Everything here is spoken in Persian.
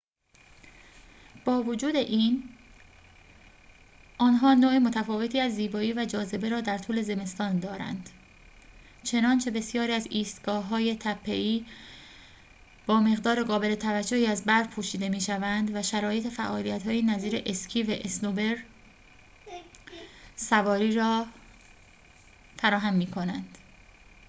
با وجود این آنها نوع متفاوتی از زیبایی و جاذبه را در طول زمستان دارند چنانچه بسیاری از ایستگاه‌های تپه‌ای با مقدار قابل توجهی از برف پوشیده می‌شوند و شرایط فعالیت‌هایی نظیر اسکی و اسنوبوردسواری را فراهم می‌کنند